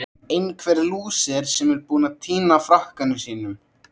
Einhver lúser sem er búinn að týna frakkanum sínum!